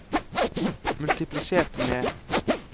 multiplisert med